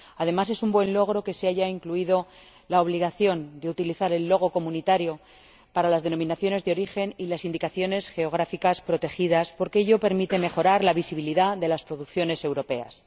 Además, es un buen logro que se haya incluido la obligación de utilizar el logotipo comunitario para las denominaciones de origen y las indicaciones geográficas protegidas, porque ello permite mejorar la visibilidad de las producciones europeas.